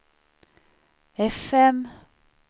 fm